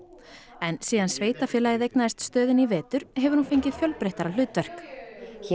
en síðan sveitarfélagið eignaðist stöðina í vetur hefur hún fengið fjölbreyttara hlutverk hér